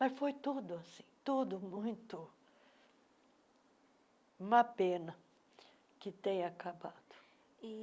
Mas foi tudo assim, tudo muito... Uma pena que tenha acabado.